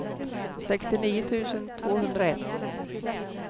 sextionio tusen tvåhundraett